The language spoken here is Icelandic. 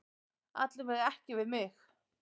Alla vega ekki við mig.